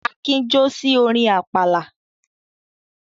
Akin jó sí orin àpàlà.